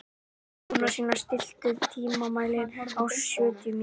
Jónasína, stilltu tímamælinn á sjötíu mínútur.